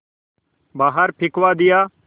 बाहर फिंकवा दिया